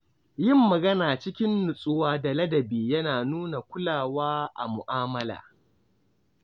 Yin magana cikin nutsuwa da ladabi yana nuna kulawa a mu’amala.